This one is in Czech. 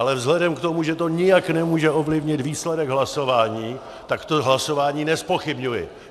Ale vzhledem k tomu, že to nijak nemůže ovlivnit výsledek hlasování, tak to hlasování nezpochybňuji.